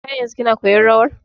Har yanzun kina koyan rawan ne?